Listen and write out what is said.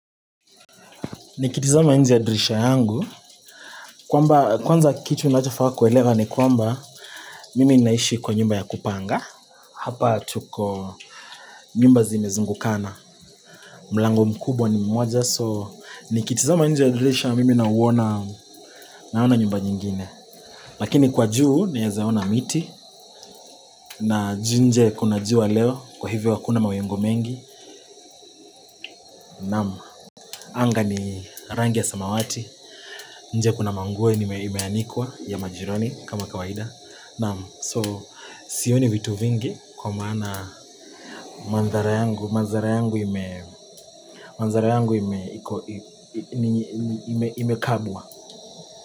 Nikitizama nje ya dirisha yangu kwamba kwanza kitu inajafaa kuelewa ni kwamba Mimi inaishi kwa nyumba ya kupanga Hapa chuko nyumba zimezingukana mlango mkubwa ni mmoja so Nikitizama nje ya dirisha mimi nauona naona nyumba nyingine Lakini kwa juu naeza ona miti na nje kuna jua leo kwa hivyo hakuna mawingu mengi Naam, anga ni rangi ya samawati nje kuna manguo imeanikwa ya majirani kama kawaida naam So sioni vitu vingi kwa maana mandhari yangu imekabwa.